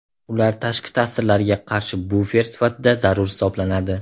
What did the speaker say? Ular tashqi ta’sirlarga qarshi bufer sifatida zarur hisoblanadi.